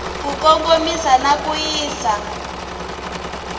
ku kongomisa na ku yisa